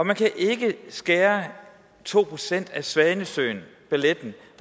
man kan ikke skære to procent af balletten svanesøen